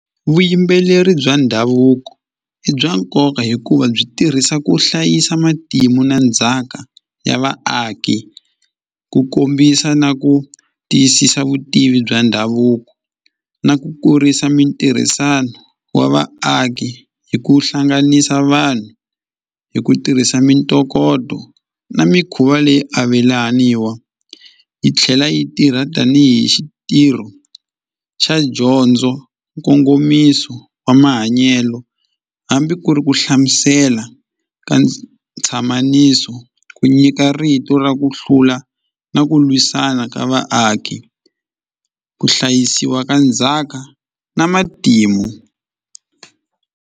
Vuyimbeleri bya ndhavuko i bya nkoka hikuva byi tirhisa ku hlayisa matimu na ndzhaka ya vaaki ku kombisa na ku tiyisisa vutivi bya ndhavuko na ku kurisa mintirhisano wa vaaki hi ku hlanganisa vanhu hi ku tirhisa mintokoto na mikhuva leyi avelaniwa yi tlhela yi tirha tanihi xitirho xa dyondzo nkongomiso wa mahanyelo hambi ku ri ku hlamusela ka ntshamisano ku nyika rito ra ku hlula na ku lwisana ka vaaki ku hlayisiwa ka ndzhaka na matimu.